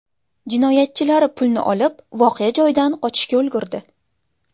Jinoyatchilar pulni olib, voqea joyidan qochishga ulgurdi.